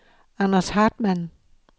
Anders Hartmann